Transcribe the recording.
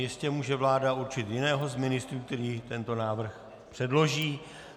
Jistě může vláda určit jiného z ministrů, který tento návrh předloží.